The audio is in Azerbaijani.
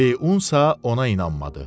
Leunsa ona inanmadı.